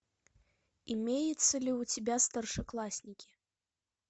имеется ли у тебя старшеклассники